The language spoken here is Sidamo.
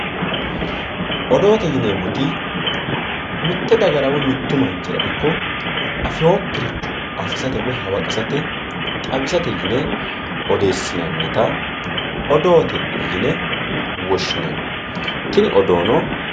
Odoote yineemmoti mite dagara woyi mitu manchira ikko afinokkiricho afisate woyi hawaqissate xawisate yine odeessinannitta odoote yine woshshinanni tini odoono.